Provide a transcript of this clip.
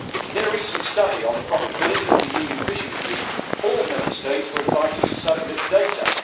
In a recent study on the profitability of the EU fishing fleet all Member States were invited to submit data.